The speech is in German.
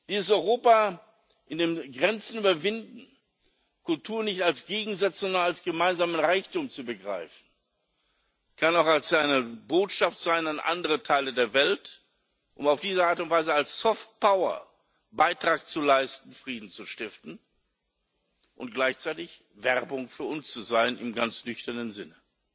Dieses Europa, in dem wir Grenzen überwinden, Kultur nicht als Gegensatz, sondern als gemeinsamen Reichtum begreifen, kann auch eine Botschaft an andere Teile der Welt sein, um auf diese Art und Weise als soft power Beitrag zu leisten, Frieden zu stiften und gleichzeitig Werbung für uns zu sein im ganz nüchternen Sinne.